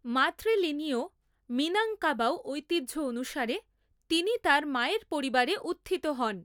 মাতৃ লীনীয় মিনাংকাবাউ ঐতিহ্য অনুসারে তিনি তার মায়ের পরিবারে উত্থিত হন।